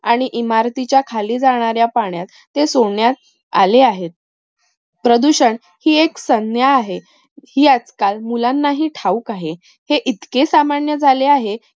आणि इमारतीच्या खाली जाणाऱ्या पाण्यात ते सोडण्यात आले आहे. प्रदूषण ही एक संज्ञा आहे. ही आजकाल मुलांनाही ठाऊक आहे. हे इतके सामान्य झाले आहे.